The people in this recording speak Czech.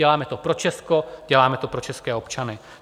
Děláme to pro Česko, děláme to pro české občany.